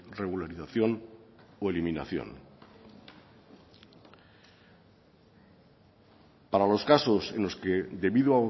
regularización o eliminación para los casos en los que debido